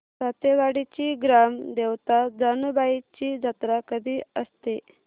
सातेवाडीची ग्राम देवता जानुबाईची जत्रा कधी असते